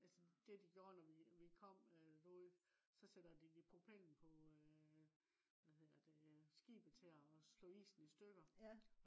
altså det de gjorde når vi kom øh derude så sætter de propellen på øh hvad hedder det øh skibet til at slå isen i stykker